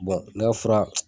ne ka fora